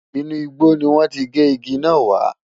Inú igbó ni wọ́n ti gé igi náà wá.